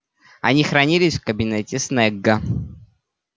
они хранились в кабинете снегга